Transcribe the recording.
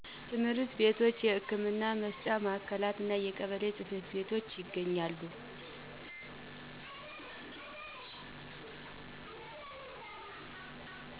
ትምህርት ቤቶች የህክምና መስጫ ማዕከላት እና የቀበሌ ጽ/ቤቶች ይገኛሉ